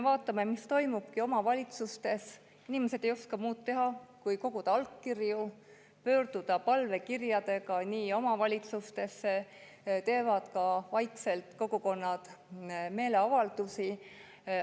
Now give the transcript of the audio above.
Vaatame, mis toimub omavalitsustes: inimesed ei oska muud teha kui koguda allkirju ja pöörduda palvekirjadega omavalitsustesse, ka kogukonnad teevad vaikselt meeleavaldusi.